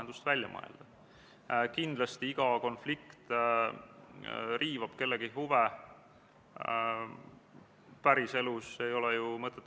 Juhtivkomisjonina riigikaitsekomisjon eelnõu kohta keelelisi täpsustusi ei teinud.